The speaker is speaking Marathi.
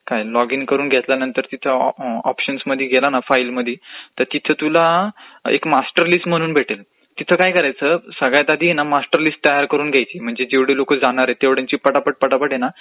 लॉग इन करून घेयल्यनंतर तिथे ऑपशन्समध्ये गेला की फाइलमदी की तिथं तुला एक मास्टर लिस्ट म्हणून भेटेल तिथं काय करयाचं सगळ्यात आधी ना मास्टरलिस्ट तयार करून घ्यायची म्हणजे जेवढी लोक जाणारेत तेवढ्यांची पटापट पटापट हे ना